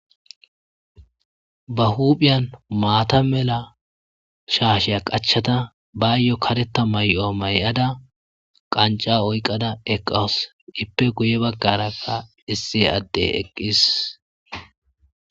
Ba huuphiyan maatha mela shaashiya qachchada bayo kareththa may7uwa may7ada qanccaa oyqqada eqqawus; ippe guyye baggaarakka issi addee eqqis.